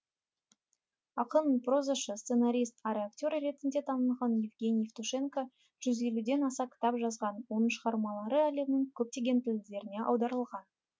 ақын прозашы сценарист әрі актер ретінде танылған евгений евтушенко жүз елуден аса кітап жазған оның шығармалары әлемнің көптеген тілдеріне аударылған